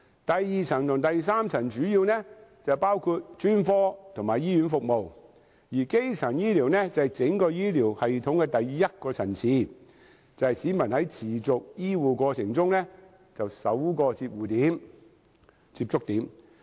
第二層及第三層醫療主要包括專科和醫院服務，而基層醫療則是整個醫療系統的第一個層次，也是你和你家人在持續醫護過程中的首個接觸點。